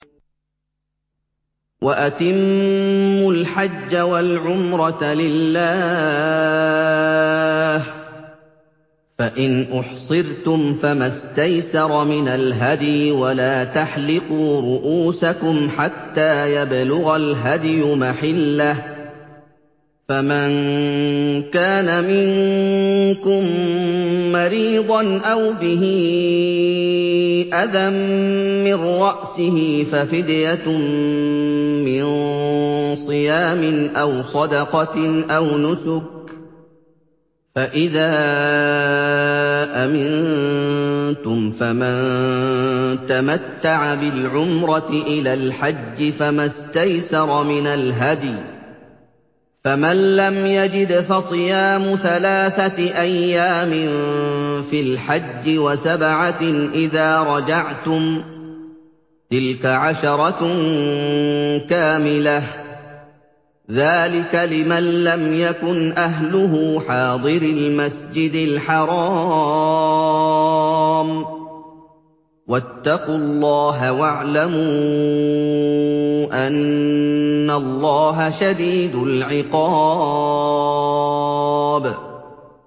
وَأَتِمُّوا الْحَجَّ وَالْعُمْرَةَ لِلَّهِ ۚ فَإِنْ أُحْصِرْتُمْ فَمَا اسْتَيْسَرَ مِنَ الْهَدْيِ ۖ وَلَا تَحْلِقُوا رُءُوسَكُمْ حَتَّىٰ يَبْلُغَ الْهَدْيُ مَحِلَّهُ ۚ فَمَن كَانَ مِنكُم مَّرِيضًا أَوْ بِهِ أَذًى مِّن رَّأْسِهِ فَفِدْيَةٌ مِّن صِيَامٍ أَوْ صَدَقَةٍ أَوْ نُسُكٍ ۚ فَإِذَا أَمِنتُمْ فَمَن تَمَتَّعَ بِالْعُمْرَةِ إِلَى الْحَجِّ فَمَا اسْتَيْسَرَ مِنَ الْهَدْيِ ۚ فَمَن لَّمْ يَجِدْ فَصِيَامُ ثَلَاثَةِ أَيَّامٍ فِي الْحَجِّ وَسَبْعَةٍ إِذَا رَجَعْتُمْ ۗ تِلْكَ عَشَرَةٌ كَامِلَةٌ ۗ ذَٰلِكَ لِمَن لَّمْ يَكُنْ أَهْلُهُ حَاضِرِي الْمَسْجِدِ الْحَرَامِ ۚ وَاتَّقُوا اللَّهَ وَاعْلَمُوا أَنَّ اللَّهَ شَدِيدُ الْعِقَابِ